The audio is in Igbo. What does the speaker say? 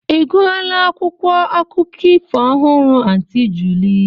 Ị gụọla akwụkwọ akụkọ ifo ọhụrụ Aunty Julie?